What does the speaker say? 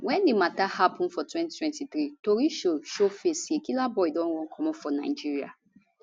wen di mata happun for 2023 tori show show face say killaboi don run comot for nigeria